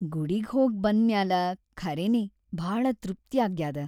ಗುಡಿಗ್‌ ಹೋಗ್‌ ಬಂದ್‌ ಮ್ಯಾಲ ಖರೇನೇ ಭಾಳ ತೃಪ್ತ್ಯಾಗ್ಯಾದ.